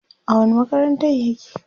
a wani makarantar yake?